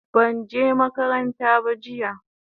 banje makaranta ba jiya